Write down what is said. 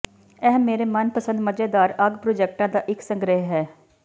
ਇਹ ਮੇਰੇ ਮਨਪਸੰਦ ਮਜ਼ੇਦਾਰ ਅੱਗ ਪ੍ਰੋਜੈਕਟਾਂ ਦਾ ਇਕ ਸੰਗ੍ਰਿਹ ਹੈ